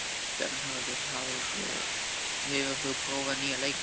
Bernharð, hefur þú prófað nýja leikinn?